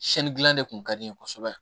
Siyɛnni dilan de tun ka di n ye kosɛbɛ